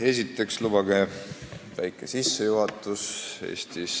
Kõigepealt lubage väike sissejuhatus.